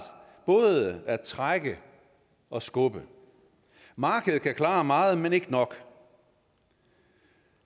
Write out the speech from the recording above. både at trække og skubbe markedet kan klare meget men ikke nok